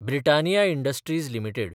Britannia Industries limited